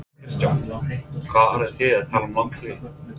Kristján: Hvað eru þið að tala um langt hlé?